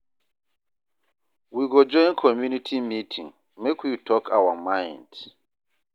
We go join community meeting, make we talk our mind.